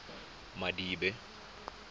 madibe